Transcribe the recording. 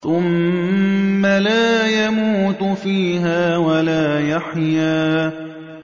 ثُمَّ لَا يَمُوتُ فِيهَا وَلَا يَحْيَىٰ